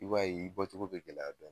I b'a ye i bɔ cogo be gɛlɛya dɔni